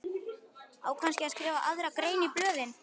Á kannski að skrifa aðra grein í blöðin?